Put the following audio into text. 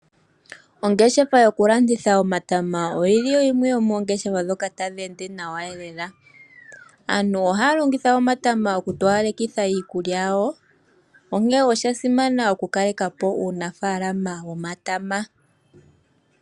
Ongeshefa yokulanditha omatama oyili yo yimwe yomoongeshefa dhoka tadhi ende nawa lela. Aantu ohaya longitha omatama okutoyaleka iikulya yawo onke oshasima okukalekapo uunafalama womatama.